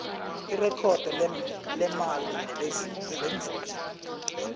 irekhodo lemali nelenzuzo